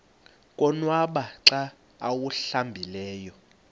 konwaba xa awuhlambileyo